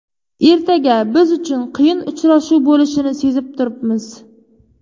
Ertaga biz uchun qiyin uchrashuv bo‘lishini sezib turibmiz.